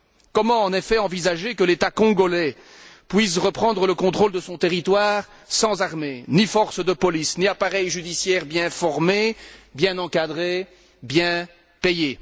Comment, en effet, envisager que l'État congolais puisse reprendre le contrôle de son territoire sans armée, ni forces de police, ni appareil judiciaire bien formé, bien encadré, bien payé?